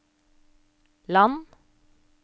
land